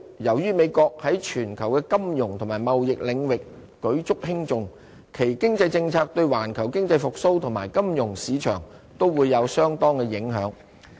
由於美國在全球的金融及貿易領域舉足輕重，其經濟政策對環球經濟復蘇及金融市場，都會有相當的影響。